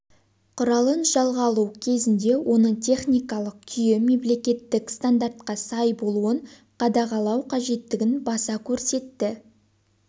құралын жалға алу кезінде оның техникалық күйі мемлекеттік стандартқа сай болуын қадағалау қажеттігін баса көрсетті